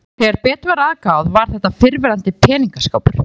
Þegar betur var að gáð var þetta fyrrverandi peningaskápur.